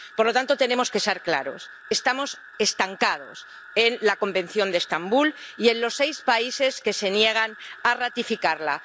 Por lo tanto, tenemos que ser claros estamos estancados en el Convenio de Estambul y debido a los seis países que se niegan a ratificarlo.